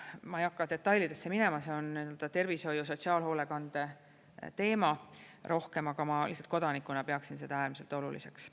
Ma ei hakka detailidesse minema, see on rohkem tervishoiu ja sotsiaalhoolekande teema, aga ma lihtsalt kodanikuna peaksin seda äärmiselt oluliseks.